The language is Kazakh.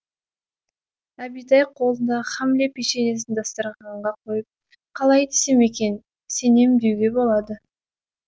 әбитай қолындағы хамле печеньесін дастарханға қойып қалай десем екен сенем деуге болады